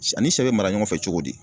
Sɛ ani sɛ be mara ɲɔgɔn fɛ cogo di